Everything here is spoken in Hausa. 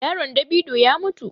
Yaron davido ya mutu.